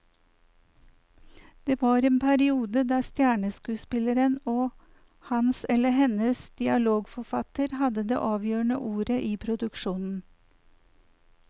Det var en periode der stjerneskuespilleren og hans eller hennes dialogforfatter hadde det avgjørende ordet i produksjonen.